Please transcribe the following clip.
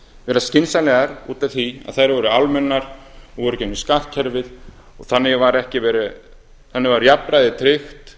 vera skynsamlegar út af því að þær voru almennar og voru í gegnum skattkerfið og þannig var jafnræði tryggt